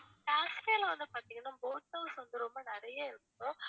காஷ்மீர்ல வந்து பாத்திங்கன்னா boat house வந்து ரொம்ப நிறைய இருக்கும்